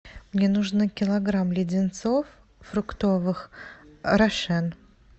мне нужно килограмм леденцов фруктовых рошен